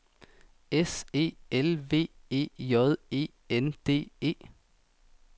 S E L V E J E N D E